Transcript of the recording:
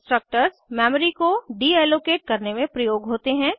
destructors memory को deallocate करने में प्रयोग होते हैं